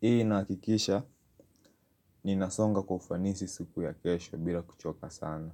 Hii inahakikisha ninasonga kwa ufanisi siku ya kesho bila kuchoka sana.